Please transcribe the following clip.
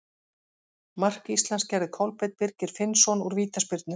Mark Íslands gerði Kolbeinn Birgir Finnsson úr vítaspyrnu.